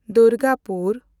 Durgapur